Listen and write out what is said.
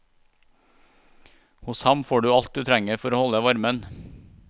Hos ham får du alt du trenger for å holde varmen.